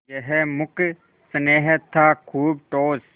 यह मूक स्नेह था खूब ठोस